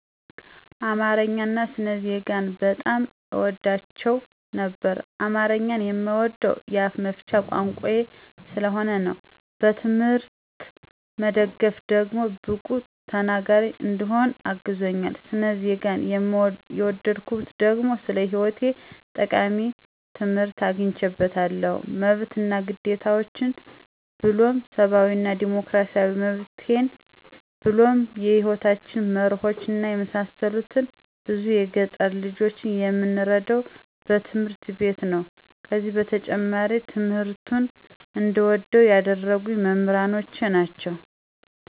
አማረኛን አና ስነ ዜጋን በጣም አወዳቸው ነበር። አማረኛን የምወደዉ የአፋ መፍቻ ቋንቋየ ስለሆነ ነዉ። በትምሕርት መደገፍ ደግሞ ብቁ ተናገሪ እንድሆን አግዞኛል። ሰነ ዜገን የወደድኩት ደግሞ ስለ ሐይወታችን ጠቃሚ ትምሕርት አግኝየበታለሁ መብት አና ግዴታችን ብሉም ሰባዊ እና ዲሞክራሲያዊ መብቴን ብሉም የሕይወታችን መረሆች የመሳሰሉትን ብዙ የገጠር ልጆች የምንረዳዉ በትምህርት ቤት ነዉ። ከዚ በተጨማሪ ትምሕርቱን እንድወደዉ ያደረጉኝ መምሕሮቸ ናቸዉ።